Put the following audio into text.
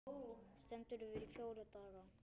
Stendur yfir í fjóra daga.